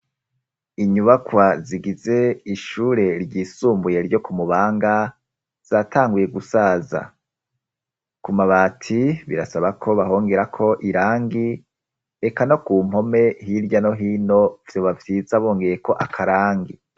Inyubakwa zigize ishure ryisumbuye ryo ku mubanga, zatangwiye gusaza. Ku mabaati birasaba ko bahongera ko irangi reka no ku mpome hirya no hino sobavyisa bongeye ko akarangi.